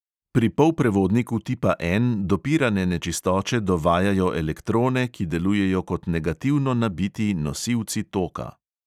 Pri polprevodniku tipa N dopirane nečistoče dovajajo elektrone, ki delujejo kot negativno nabiti nosilci toka.